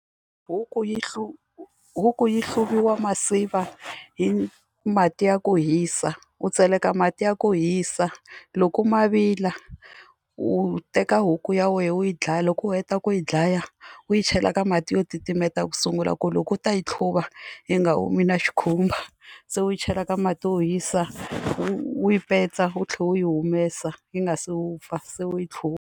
Huku yi huku yi hluvisiwa masiva hi mati ya ku hisa u tseleka mati ya ku hisa loko ma vila u teka huku ya wena u yi dlaya loko u heta ku yi dlaya u yi chela ka mati yo titimeta ku sungula ku loko u ta yi hluva yi nga humi na xikhumba se u yi chela ka mati wo hisa u yi petsa u tlhe u yi humesa yi nga se wupfa se u yi .